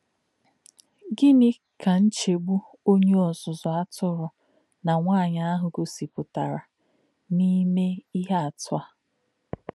Gịnị̄ kā̄ nchè̄gbù̄ ọ̀nyé̄ ọ́zụ́zụ́ àtụ̄rụ̄ nā̄ nwá̄nyí̄ àhū̄ gọ̀sìpụ̀tà̄rè̄ nā̄-èmè̄ íhè̄ àtụ̀ yá̄?